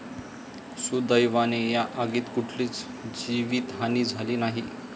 सुदैवाने या आगीत कुठलीच जीवीतहानी झाली नाही.